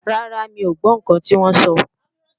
Rárá, mi ò gbọ́ ǹkan tí wọ́n sọ